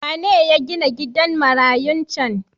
Wane ya ginan gidan marayun cen?